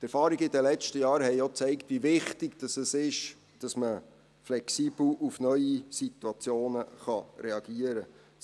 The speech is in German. Die Erfahrungen der letzten Jahre haben auch gezeigt, wie wichtig es ist, dass man flexibel auf neue Situationen reagieren kann.